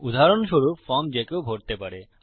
উদাহরণস্বরূপ ফর্ম যে কেউ ভরতে পারে